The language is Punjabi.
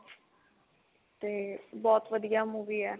ਤੇ ਬਹੁਤ ਵਧੀਆ movie ਆ